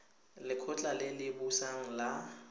lekgotla le le busang la